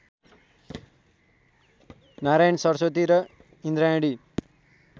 नारायण सरस्वती र इन्द्रायणी